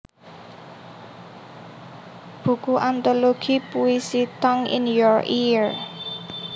Buku Antologi Puisi Tongue in Your Ear